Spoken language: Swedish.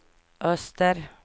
öster